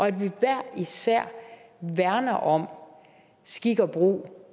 at vi hver især værner om skik og brug